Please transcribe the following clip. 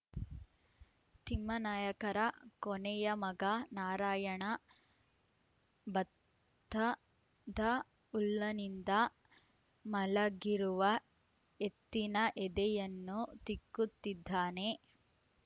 ತಿಮ್ಮಾನಾಯಕರ ಕೊನೆಯಮಗ ನಾರಾಯಣ ಭತ್ತದಉಲ್ಲನಿಂದ ಮಲಗಿರುವ ಎತ್ತಿನಎದೆಯನ್ನು ತಿಕ್ಕುತ್ತಿದ್ದಾನೆ